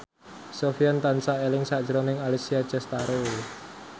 Sofyan tansah eling sakjroning Alessia Cestaro